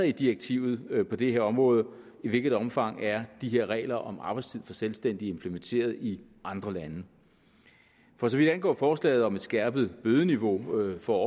i direktivet på det her område og i hvilket omfang de her regler om arbejdstid for selvstændige er implementeret i andre lande for så vidt angår forslaget om et skærpet bødeniveau for